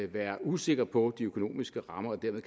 være usikker på de økonomiske rammer og dermed